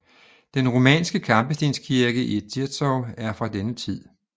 Den romanske kampestenskirke i Zirzow er fra denne tid